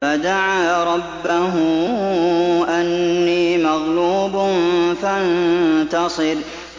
فَدَعَا رَبَّهُ أَنِّي مَغْلُوبٌ فَانتَصِرْ